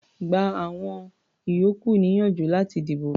Gba àwọn ìyókù níyànjú láti dìbò.